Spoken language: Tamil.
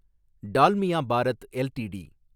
டால்மியா பாரத் எல்டிடி